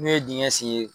N'o ye dingɛ sen ye